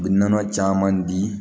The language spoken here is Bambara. U bɛ nɔnɔ caman di